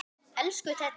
Elsku Teddi.